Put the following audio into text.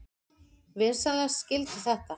Vinsamlegast skildu þetta.